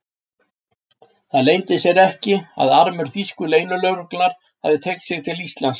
Það leyndi sér ekki, að armur þýsku leynilögreglunnar hafði teygt sig til Íslands.